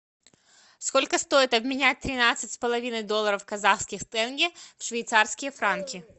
сколько стоит обменять тринадцать с половиной долларов казахские тенге в швейцарские франки